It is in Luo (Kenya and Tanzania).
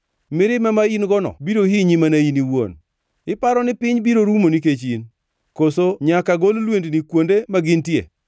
Mirima ma in-gono biro hinyi mana in iwuon, iparo ni piny biro rumo nikech in? Koso nyaka gol lwendni kuonde magintie?